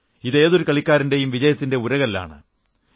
ഇത് ഏതൊരു കളിക്കാരന്റെയും വിജയത്തിന്റെ ഉരകല്ലാണ്